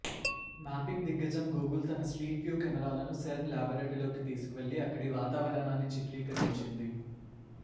mapping దిగ్గజం Google తన street view కెమెరాలను సెర్న్ ల్యాబరెటరీలోకి తీసుకువెళ్లి అక్కడి వాతావరణాన్ని చిత్రీకరించింది